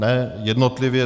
Ne, jednotlivě.